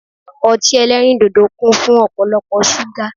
Ọtí eléríndòdò kún fún ọ̀pọ̀lọpọ̀ ṣúgà